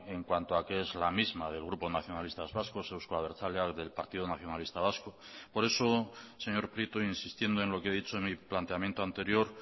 en cuanto a que es la misma del grupo nacionalistas vascos euzko abertzaleak del partido nacionalista vasco por eso señor prieto insistiendo en lo que he dicho en mi planteamiento anterior